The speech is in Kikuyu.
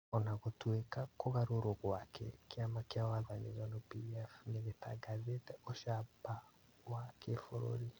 Ona gũtuĩka kũgarũrwo gwake, kĩama kĩa wathani Zanu-PF nĩgĩtangathĩte ũcamba wa kĩbũrũri